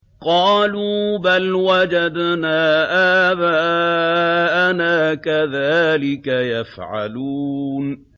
قَالُوا بَلْ وَجَدْنَا آبَاءَنَا كَذَٰلِكَ يَفْعَلُونَ